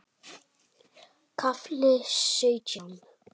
KAFLI SAUTJÁN